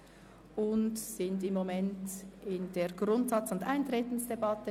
Wir befinden uns im Moment in der Grundsatz- und Eintretensdebatte.